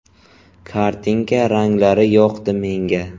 Kartinka ranglari yoqdi menga.